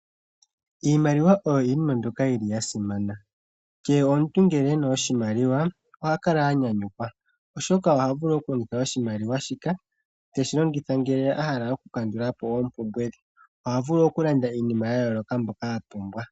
Iimaliwa oyo iinima mbyoka yi li ya simana. Kehe omuntu ngele e na oshimaliwa oha kala a nyanyukwa, oshoka oha vulu okulongitha oshimaliwa shika te shi longitha ngele a hala oku kandula po oompumbwe dhe. Oha vulu okulanda iinima ya yooloka mbyoka a pumbwa.